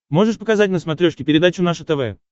можешь показать на смотрешке передачу наше тв